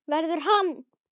Verður hann.